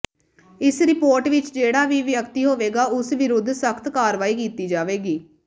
ਇਸ ਰਿਪੋਰਟ ਵਿਚ ਜਿਹੜਾ ਵੀ ਵਿਅਕਤੀ ਹੋਵੇਗਾ ਉਸ ਵਿਰੁਧ ਸਖ਼ਤ ਕਾਰਵਾਈ ਕੀਤੀ ਜਾਵੇਗੀ